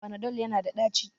Panadol yana da daci